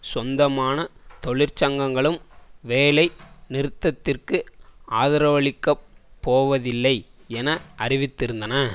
சொந்தமான தொழிற்சங்கங்களும் வேலை நிறுத்தத்திற்கு ஆதரவளிக்க போவதில்லை என அறிவித்திருந்தன